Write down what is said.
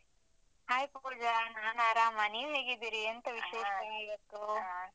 Hai Pooja, ನಾನ್ ಆರಾಮ, ನೀವ್ ಹೇಗಿದ್ದೀರಿ.